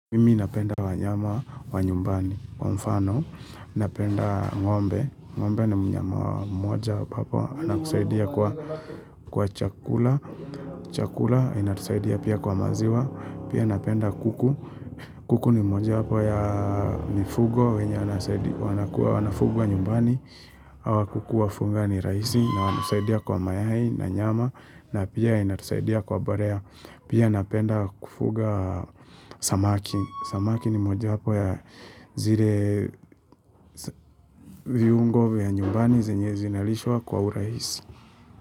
Mimi napenda wanyama wa nyumbani, wa mfano, napenda ng'ombe. Ng'ombe ni mwenye moja wapapo, anakusaidia kwa chakula, chakula inatusaidia pia kwa maziwa. Pia napenda kuku, kuku ni moja wapo ya mifugo, wenye anakua wanafugwa nyumbani. Awa kuku wa funga ni raisi, na wanasaidia kwa mayai na nyama, na pia inatusaidia kwa borea. Pia napenda kufuga samaki. Samaki ni moja wapo ya zire viungo vya nyumbani zenye zinalishwa kwa uraisi.